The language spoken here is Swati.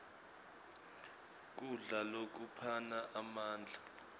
kudla lokuphana emandla